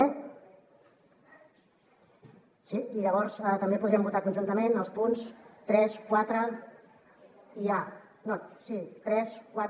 ) i llavors també podríem votar conjuntament els punts tres quatre i acorrecte